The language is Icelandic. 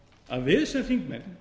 að við sem þingmenn